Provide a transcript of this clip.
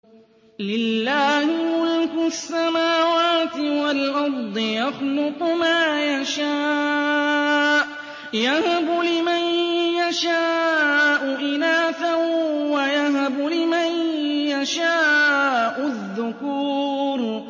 لِّلَّهِ مُلْكُ السَّمَاوَاتِ وَالْأَرْضِ ۚ يَخْلُقُ مَا يَشَاءُ ۚ يَهَبُ لِمَن يَشَاءُ إِنَاثًا وَيَهَبُ لِمَن يَشَاءُ الذُّكُورَ